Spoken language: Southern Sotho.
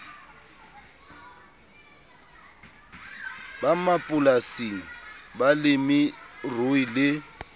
ba mapolasing balemi rui le